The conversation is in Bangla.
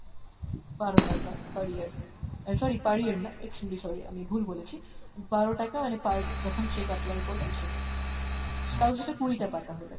বারো টাকা per year, অ্যাঁ sorry per year না extremely sorry আমি ভুল বলেছি, বারো টাকা মানে per যখন cheque apply করবেন সেটা। তাও সেটা কুড়িটা পাতা হলে।